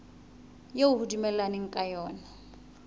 eo ho dumellanweng ka yona